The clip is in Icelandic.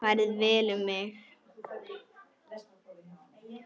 Farið vel um mig?